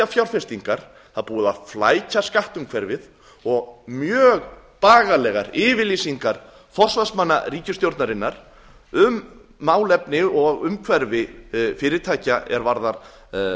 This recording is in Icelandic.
fjárfestingar það er búið að flækja skattumhverfið og mjög bagalegar yfirlýsingar forsvarsmanna ríkisstjórnarinnar um málefni og umhverfi fyrirtækja er varðar